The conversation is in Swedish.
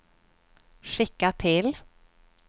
skicka till